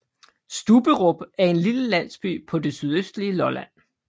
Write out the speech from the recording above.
Stubberup er en lille landsby på det sydøstlige Lolland